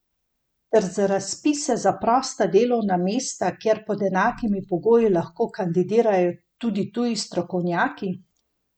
Ter za razpise za prosta delovna mesta, kjer pod enakimi pogoji lahko kandidirajo tudi tuji strokovnjaki?